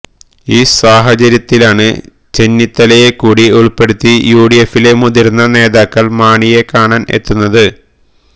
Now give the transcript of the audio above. ഈ സാഹചര്യത്തിലാണ് ചെന്നിത്തലയെ കൂടി ഉൾപ്പെടുത്തി യുഡിഎഫിലെ മുതിർന്ന നേതാക്കൾ മാണിയെ കാണാൻ എത്തുന്നത്